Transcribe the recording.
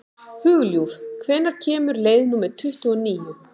Hugljúf, hvenær kemur leið númer tuttugu og níu?